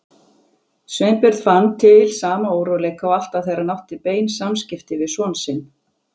Sveinbjörn fann til sama óróleika og alltaf þegar hann átti bein samskipti við son sinn.